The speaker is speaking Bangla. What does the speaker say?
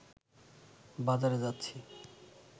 বাজারে যাচ্ছি